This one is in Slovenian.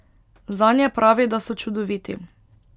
Zanje pravi, da so čudoviti.